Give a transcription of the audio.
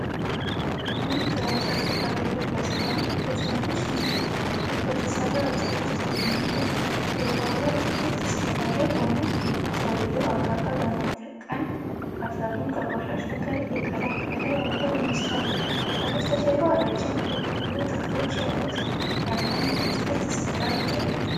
አንድ ግራጫ ሹራብ የለበሰ ወንድ በትናንሽ እንጨቶች በተሰራ አጥር ውስጥ በሚገኝ የጓሮ አትክልት ስፍራ ላይ ሆኖ። ሰውየው አካፋ በመጠቀም አፈሩን ከቆሻሻ ጋር እየቀላቀለ ያለ ይመስላል። ከበስተጀርባ ረጅም የበቆሎ ተክሎች ያሉት ለምለም የአትክልት ስፍራ ይታያል።